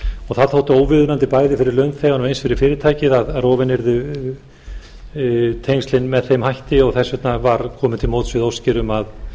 og það þótti óviðeigandi bæði fyrir launþegann og eins fyrir fyrirtækið að rofin yrðu tengslin með þeim hætti og þess vegna var komið til móts við óskir um að